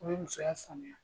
O bɛ musoya sanuya.